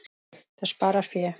Það sparar fé.